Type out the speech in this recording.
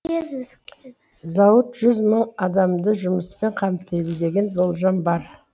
зауыт жүз мың адамды жұмыспен қамтиды деген болжам бар